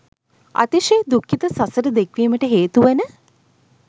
අතිශය දුක්ඛිත සසර දික්වීමට හේතුවන